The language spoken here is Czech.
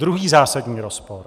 Druhý zásadní rozpor.